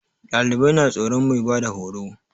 Ɗalibai na tsoron mai bada horo